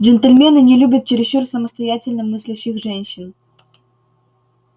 джентльмены не любят чересчур самостоятельно мыслящих женщин